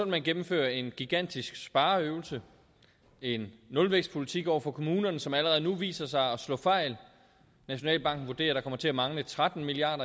man gennemføre en gigantisk spareøvelse en nulvækstpolitik over for kommunerne som allerede nu viser sig at slå fejl nationalbanken vurderer at der kommer til at mangle tretten milliard